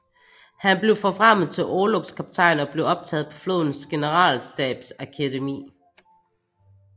Han blev forfremmet til orlogskaptajn og blev optaget på flådens generalstabsakademi